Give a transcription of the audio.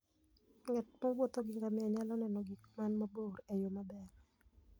Ng'at mowuotho gi ngamia nyalo neno gik man mabor e yo maber.